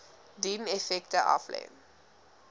dien effekte aflê